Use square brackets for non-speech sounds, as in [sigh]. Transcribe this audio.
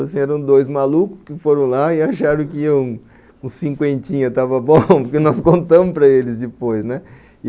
Eram dois malucos que foram lá e acharam que um cinquentinha estava bom, [laughs] porque nós contamos para eles depois, né?